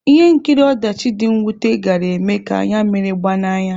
Ihe nkiri ọdachi dị mwute gaara eme ka anya mmiri gbaa n'anya.